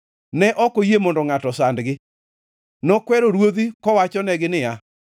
Ne ok oyie mondo ngʼato osandgi; nokwero ruodhi kowachonegi niya,